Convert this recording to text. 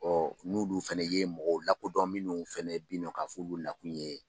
Ɔ n'olu fana ye mɔgɔw lakodɔn minnu fana bi nɔ k'a f'olu nakun ye